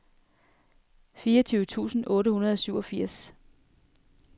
fireogtyve tusind otte hundrede og syvogfirs